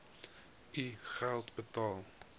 u geld uitbetaal